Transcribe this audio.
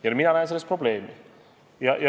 Ja mina näen selles probleemi.